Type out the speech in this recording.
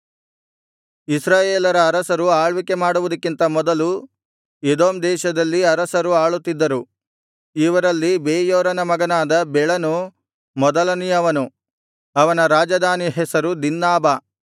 ಇಸ್ರಾಯೇಲರ ಅರಸರು ಆಳ್ವಿಕೆ ಮಾಡುವುದಕ್ಕಿಂತ ಮೊದಲು ಎದೋಮ್ ದೇಶದಲ್ಲಿ ಅರಸರು ಆಳುತ್ತಿದ್ದರು ಇವರಲ್ಲಿ ಬೆಯೋರನ ಮಗನಾದ ಬೆಳನು ಮೊದಲನೆಯವನು ಅವನ ರಾಜಧಾನಿ ಹೆಸರು ದಿನ್ಹಾಬಾ